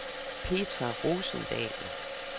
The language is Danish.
Petra Rosendahl